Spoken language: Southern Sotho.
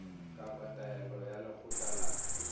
kapa taelo ya lekgotla la